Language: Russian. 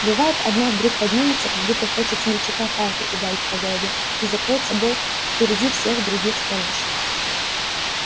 бывает одна вдруг поднимется как будто хочет смельчака палкой ударить по голове и закроет собой впереди всех других старушек